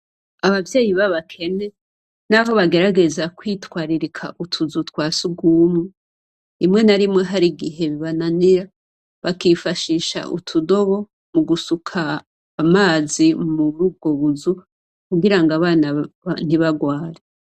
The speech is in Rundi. Abavyeyi babakene, naho bagerageza kwitwaririka utuzu twa sugumwe. Rimwe na rimwe hari igihe bibananira, bakifashisha utudobo mu gusuka amazi murubwo buzu, kugira ng'abana ntibarware.